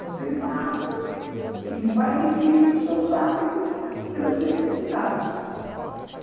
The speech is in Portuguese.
Você nasce e vai adquirindo seus hábitos pelas necessidades.